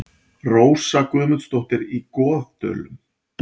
Rósa Guðmundsdóttir í Goðdölum